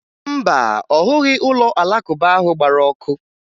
Mba, ọ hụghị ụlọ Alakụba ahụ gbara ọkụ